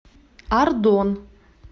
ардон